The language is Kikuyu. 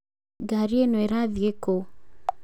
Gari ĩno ĩrathie kũũ